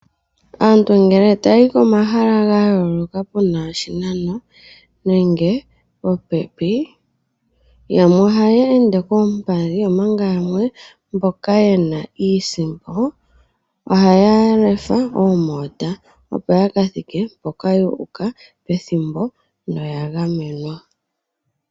Aantu ngele tayayi komahala ga yooloka pena oshinano nenge popepi yamwe ohaya ende koompadhi, omanga yamwe mboka yena iisimpo ohaya lefe oomota opo ya kathike mpoka yu uka pethimbo noya gamenwa.